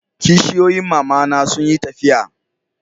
kishiyoyin mama na sun yi tafiya